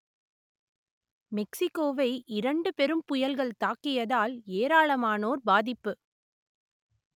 மெக்சிக்கோவை இரண்டு பெரும் புயல்கள் தாக்கியதால் ஏராளமானோர் பாதிப்பு